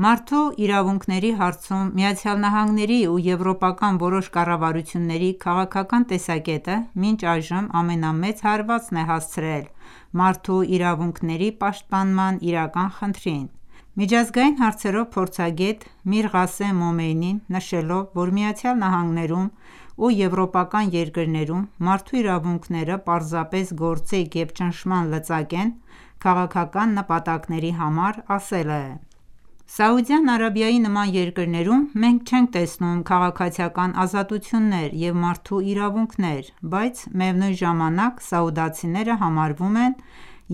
Մարդու իրավունքների հարցում ԱՄՆ-ի և եվրոպական որոշ կառավարությունների քաղաքական տեսակետը մինչ այժմ ամենամեծ հարվածն է հասցրել մարդու իրավունքների պաշտպանման իրական խնդրին։ Միջազգային հարցերով փորձագետ Միրղասեմ Մոմենին նշելով, որ ԱՄՆ-ում և եվրոպական երկրներում մարդու իրավունքները պարզապես գործիք և ճնշման լծակ են քաղաքական նպատակների համար, ասել է.«Սաուդյան Արաբիայի նման երկրում մենք չենք տեսնում քաղաքացիական ազատություններ և մարդու իրավունքներ, բայց միևնույն ժամանակ սաուդցիները համարվում են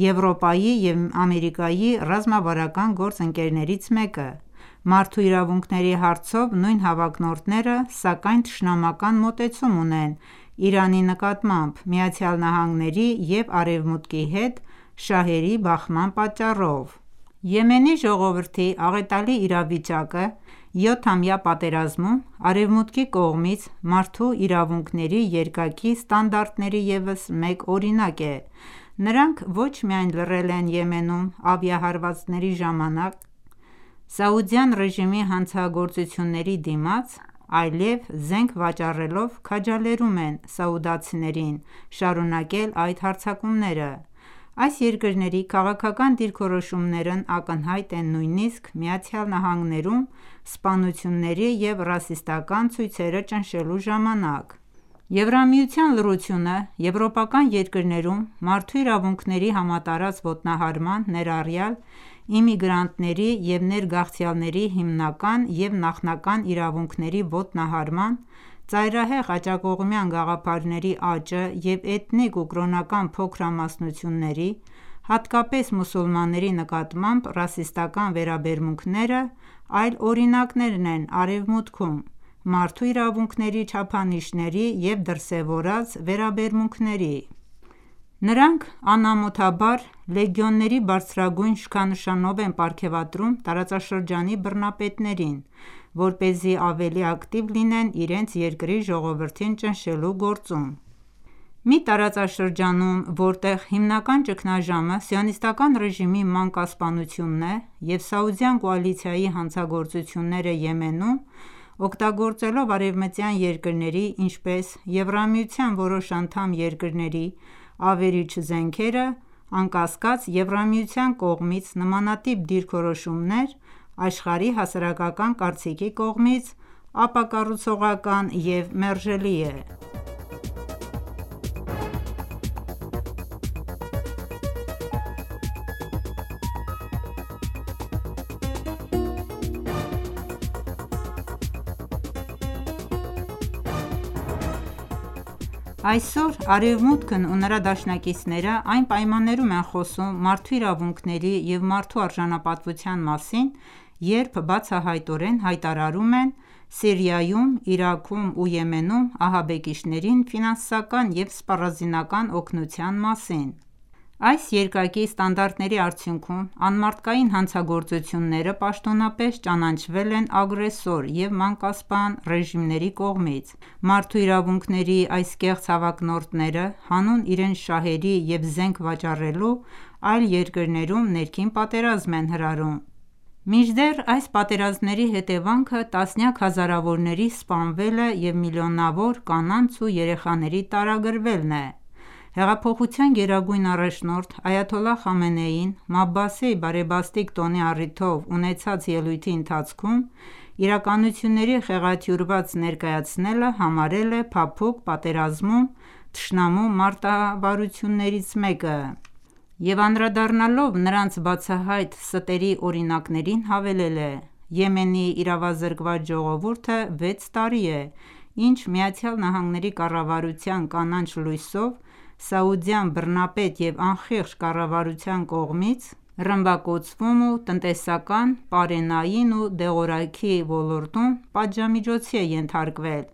Եվրոպայի և Ամերիկայի ռազմավարական գործընկերներից մեկը:Մարդու իրավունքների հարցով նույն հավակնորդները ,սակայն թշնամական մոտեցում ունեն Իրանի նկատմամբ՝ ԱՄՆ-ի և Արևմուտքի հետ շահերի բախման պատճառով»։ Եմենի ժողովրդի աղետալի իրավիճակը 7-ամյա պատերազմում, Արևմուտքի կողմից մարդու իրավունքների երկակի ստանդարտների ևս մեկ օրինակ է։ Նրանք ոչ միայն լռել են Եմենում ավիահարվածների ժամանակ սաուդյան ռեժիմի հանցագործությունների դիմաց, այլեւ զենք վաճառելով՝ քաջալերում են սաուդցիներին շարունակել այդ հարձակումները։ Այս երկրների քաղաքական դիրքորոշումներն ակնհայտ են նույնիսկ ԱՄՆ-ում սպանությունների և ռասիստական ​​ցույցերը ճնշելու ժամանակ:Եվրամիության լռությունը եվրոպական երկրներում մարդու իրավունքների համատարած ոտնահարման, ներառյալ իմիգրանտների և ներգաղթյալների հիմնական և նախնական իրավունքների ոտնահարման, ծայրահեղ աջակողմյան գաղափարների աճը և էթնիկ ու կրոնական փոքրամասնությունների, հատկապես մուսուլմանների նկատմամբ ռասիստական ​​վերաբերմունքները, այլ օրինակներն են Արևմուտքում, մարդու իրավունքների չափանիշների և դրսևորված վերաբերմունքների:Նրանք անամոթաբար լեգեոներների բարձրագույն շքանշանով են պարգեւատրում տարածաշրջանի բռնապետներին, որպեսզի ավելի ակտիվ լինեն իրենց երկրի ժողովրդին ճնշելու գործում։ Մի տարածաշրջանում, որտեղ հիմնական ճգնաժամը սիոնիստական ​​ռեժիմի մանկասպանությունն է և Սաուդյան կոալիցիայի հանցագործությունները Եմենում, օգտագործելով՝ արևմտյան երկրների ,ինչպես ՝Եվրամիության որոշ անդամ երկրների ավերիչ զենքերը, անկասկած Եվրամիության կողմից նմանատիպ դիրքորոշումներ աշխարհի հասարակական կարծիքի կողմից ապակառուցողական և մերժելի է: Այսօր Արևմուտքն ու նրա դաշնակիցները այն պայմաններում են խոսում մարդու իրավունքների և մարդու արժանապատվության մասին՝ երբ բացահայտորեն հայտարարում են Սիրիայում, Իրաքում և Եմենում ահաբեկիչներին ֆինանսական և սպառազինական օգնության մասին:Այս երկակի ստանդարտների արդյունքում ,անմարդկային հանցագործությունները պաշտոնապես ճանաչվել են ագրեսոր և մանկասպան ռեժիմների կողմից:Մարդու իրավունքների այս կեղծ հավակնորդները, հանուն իրենց շահերի և զենք վաճառելու, այլ երկրներում ներքին պատերազմ են հրահրում: Մինչդեռ այս պատերազմների հետևանքը տասնյակ հազարավորների սպանվելը և միլիոնավոր կանանց ու երեխաների տարագրվելն է: Հեղափոխության գերագույն առաջնորդ այաթոլլահ Խամենեին Մաբասի բարեբաստիկ տոնի առիթով ունեցած ելույթի ընթացքում ,իրականությունների խեղաթյուրված ներկայացնելը համարել է փափուկ պատերազմում թշնամու մարտավարություններից մեկը և անդրադառնալով նրանց բացահայտ ստերի օրինակներին հավելել է.«Եմենի իրավազրկված ժողովուրդը վեց տարի է ինչ ԱՄՆ-ի կառավարության կանաչ լույսով Սաուդյան բռնապետ և անխիղճ կառավարության կողմից ռմբակոծվում ու տնտեսական, պարենային ու դեղորայքի ոլորտում պատժամիջոցի է ենթարկվել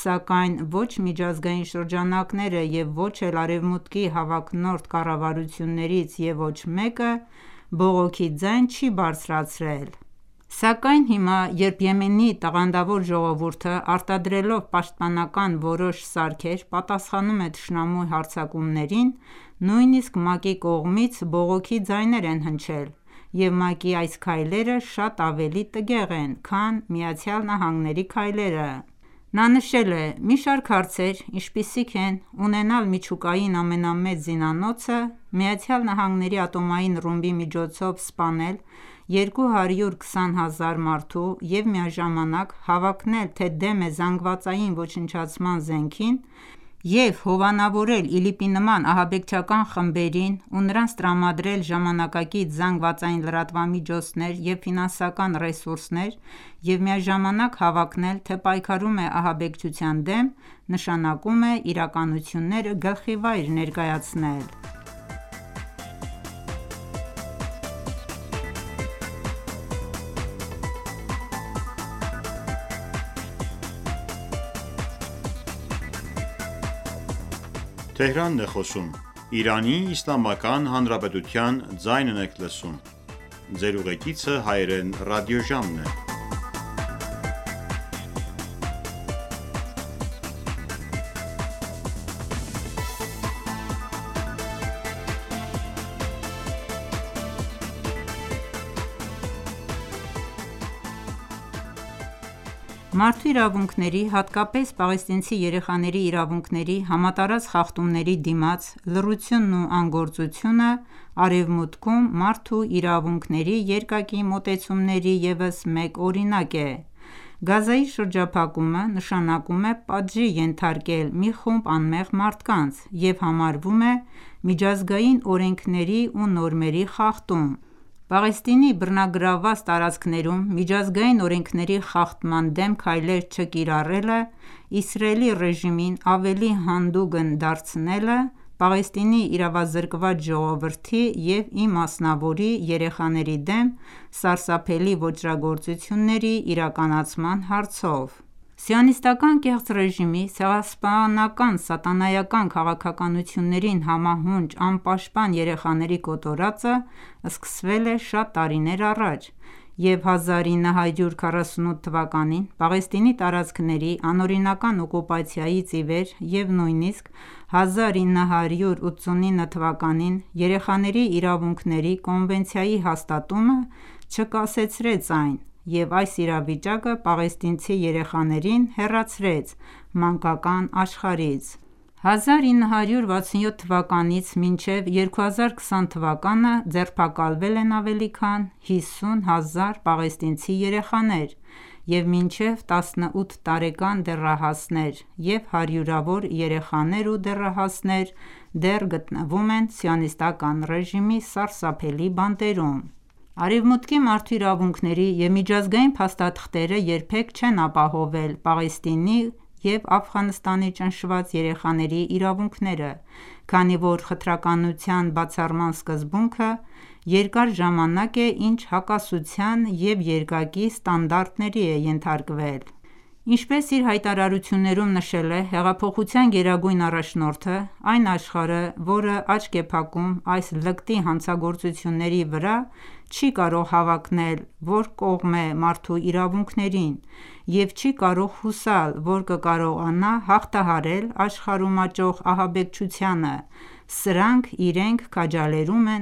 ,սակայն ո՛չ միջազգային շրջանակները և ո՛չ էլ արևմուտքի հավակնորդ կառավարություններից և ոչ մեկը բողոքի ձայն չի բարձրացրել, սակայն հիմա երբ Եմենի տաղանդավոր ժողովուրդը արտադրելով պաշտպանական որոշ սարքեր պատասխանում է թշնամու հարձակումներին ,նույնիսկ ՄԱԿ-ի կողմից բողոքի ձայներ են հնչել ,և ՄԱԿ-ի այս քայլերը շատ ավելի տգեղ են քան ԱՄՆ-ի քայլերը»: Նա նշել է․-«մի շարք հարցեր ինչպիսիք են՝ ունենալ միջուկային ամենամեծ զինանոցը, ԱՄՆ-ի ատոմային ռումբի միջոցով սպանել 220 հազար մարդու, և միաժամանակ հավակնել թե՝դեմ է զանգվածային ոչնչացման զենքին, և հովանավորել ԻԼԻՊ-ի նման ահաբեկչական խմբերին և նրանց տրամադրել ժամանակակից ԶԼՄ-ներ և ֆինանսական ռեսուրսներ և միաժամանակ հավակնել թե՝ պայքարում է ահաբեկչության դեմ ,նշանակում է իրականությունները գլխիվայր ներկայացնել»: Մարդու իրավունքների, հատկապես պաղեստինցի երեխաների իրավունքների համատարած խախտումների դիմաց լռությունն ու անգործությունը ,Արևմուտքում մարդու իրավունքների երկակի մոտեցումների ևս մեկ օրինակ է: Գազզայի շրջափակումը ,նշանակում է պատժի ենթարկել մի խումբ անմեղ մարդկանց և համարվում է միջազգային օրենքների ու նորմերի խախտում։ Պաղեստինի բռնագրավված տարածքներում միջազգային օրենքների խախտման դեմ քայլեր չկիրառելը ,Իսրայելի ռեժիմին ավելի հանդուգն է դարձրել Պաղեստինի իրավազրկված ժողովրդի և իմասնավորի երեխաների դեմ սարսափելի ոճրագործությունների իրականացման հարցով: Սիոնիստական ​​կեղծ ռեժիմի ցեղասպանական սատանայական քաղաքականություններին համահունչ անպաշտպան երեխաների կոտորածը, սկսվել է շատ տարիներ առաջ և 1948 թվականին Պաղեստինի տարածքների անօրինական օկուպացիայից իվեր, և նույնիսկ 1989 թվականին Երեխաների իրավունքների կոնվենցիայի հաստատումը չկասեցրեց այն,և այս իրավիճակը պաղեստինցի երեխաներին հեռացրեց մանկական աշխարհից:1967 թվականից մինչև 2020 թվականը ձերբակալվել են ավելի քան 50,000 պաղեստինցի երեխաներ և մինչև 18 տարեկան դեռահասներ,և հարյուրավոր երեխաներ ու դեռահասներ դեռ գտնվում են սիոնիստական ​​ռեժիմի սարսափելի բանտերում։ Արևմուտքի մարդու իրավունքների և միջազգային փաստաթղթերը երբեք չեն ապահովվել Պաղեստինի և Աֆղանստանի ճնշված երեխաների իրավունքները, քանի որ խտրականության բացառման սկզբունքը երկար ժամանակ է ինչ հակասության և երկակի ստանդարտների է ենթարկվել: Ինչպես իր հայտարարություններում նշել է հեղափոխության գերագույն առաջնորդը..«Այն աշխարհը, որը աչք է փակում այս լկտի հանցագործությունների վրա, չի կարող հավակնել, որ կողմ է մարդու իրավունքներին և չի կարող հուսալ, որ կկարողանա հաղթահարել աշխարհում աճող ահաբեկչութանը ,սրանք իրենք քաջալերում են